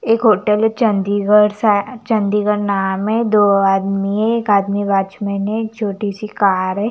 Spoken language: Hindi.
एक होटल है चंडीगढ़ स चंडीगढ़ नाम है दो आदमी है एक आदमी वॉचमैन है एक चोटी सी कार है ।